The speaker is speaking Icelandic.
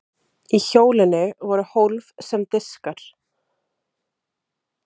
í hjólinu voru hólf sem diskar